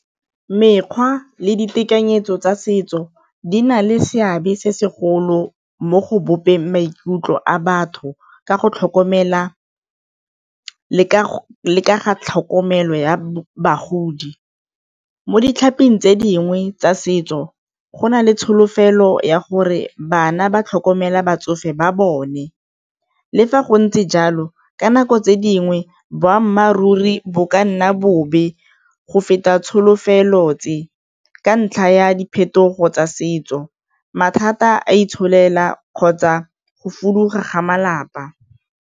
Mekgwa le ditekanyetso tsa setso di na le seabe se segolo mo go bopeng maikutlo a batho ka go tlhokomela le ka tlhokomelo ya bagodi, mo tse dingwe tsa setso go na le tsholofelo ya gore bana ba tlhokomela batsofe ba bone, le fa go ntse jalo ka nako tse dingwe boammaaruri re bo ka nna bobe go feta tsholofelo tse ka ntlha ya diphetogo tsa setso, mathata a itsholela kgotsa go foduga ga malapa.